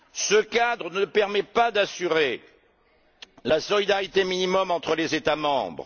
Ce cadre ne permet pas d'assurer la solidarité minimum entre les États membres